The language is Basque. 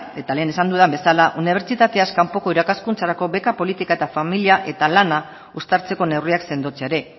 eta lehen esan dudan bezala unibertsitateaz kanpoko irakaskuntzarako beka politika eta familia eta lana uztartzeko neurriak sendotzea ere